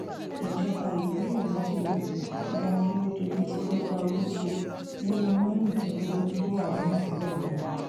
ìjọba ìbílẹ méjìlá ni akérèdọlù ti gbégbá orókè nínú mẹrìndínlógún tó wà nípìnlẹ náà